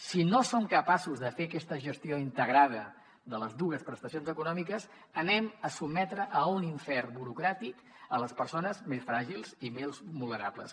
si no som capaços de fer aquesta gestió integrada de les dues prestacions econòmiques sotmetrem a un infern burocràtic les persones més fràgils i més vulnerables